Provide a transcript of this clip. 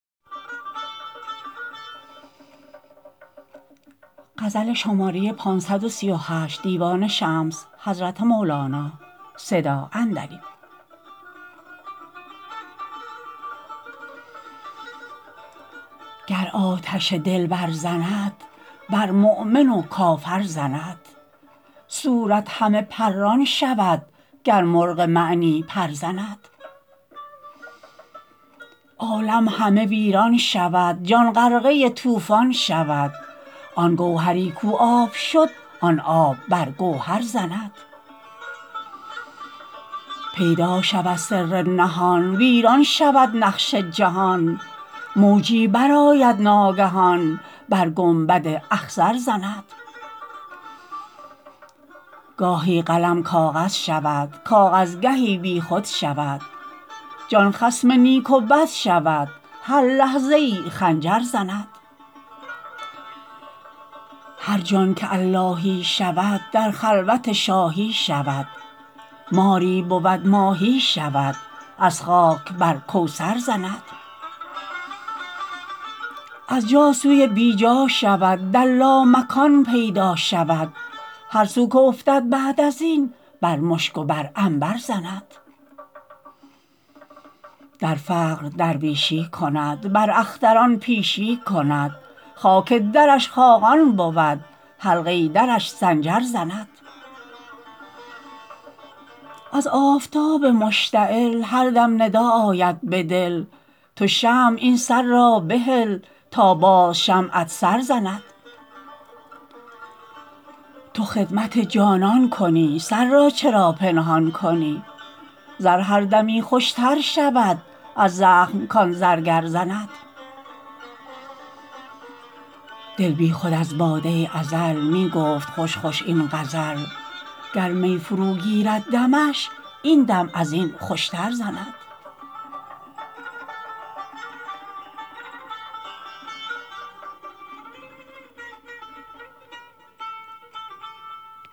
گر آتش دل برزند بر مؤمن و کافر زند صورت همه پران شود گر مرغ معنی پر زند عالم همه ویران شود جان غرقه طوفان شود آن گوهری کو آب شد آن آب بر گوهر زند پیدا شود سر نهان ویران شود نقش جهان موجی برآید ناگهان بر گنبد اخضر زند گاهی قلم کاغذ شود کاغذ گهی بیخود شود جان خصم نیک و بد شود هر لحظه ای خنجر زند هر جان که اللهی شود در لامکان پیدا شود ماری بود ماهی شود از خاک بر کوثر زند از جا سوی بی جا شود در لامکان پیدا شود هر سو که افتد بعد از این بر مشک و بر عنبر زند در فقر درویشی کند بر اختران پیشی کند خاک درش خاقان بود حلقه درش سنجر زند از آفتاب مشتعل هر دم ندا آید به دل تو شمع این سر را بهل تا باز شمعت سر زند تو خدمت جانان کنی سر را چرا پنهان کنی زر هر دمی خوشتر شود از زخم کان زرگر زند دل بیخود از باده ازل می گفت خوش خوش این غزل گر می فروگیرد دمش این دم از این خوشتر زند